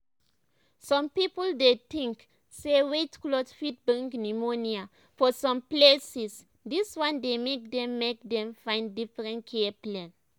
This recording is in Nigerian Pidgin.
some people dey tink say wet cloth fit bring pneumonia for some places dis one dey make dem make dem find different care plan.